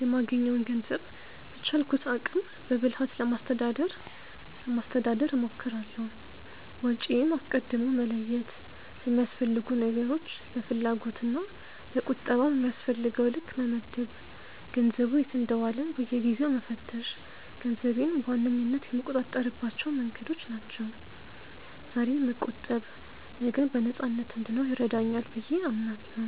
የማገኘውን ገንዘብ በቻልኩት አቅም በብልሃት ለማስተዳደር ለማስተዳደር እሞክራለሁ። ወጪዬን አስቀድሞ መለየት፣ ለሚያስፈልጉ ነገሮች፣ ለፍላጎት እና ለቁጠባ በሚያስፈልገው ልክ መመደብ፣ ገንዘቡ የት እንደዋለ በየጊዜው መፈተሽ ገንዘቤን በዋነኝነት የምቆጣጠርባቸው መንገዶች ናቸው። ዛሬ መቆጠብ ነገን በነፃነት እንድኖር ይረዳኛል ብዬ አምናለሁ።